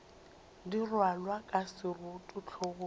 di rwalwa ka seroto hlogong